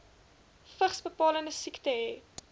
vigsbepalende siekte hê